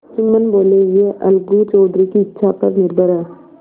जुम्मन बोलेयह अलगू चौधरी की इच्छा पर निर्भर है